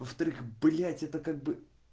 во вторых блять это как бы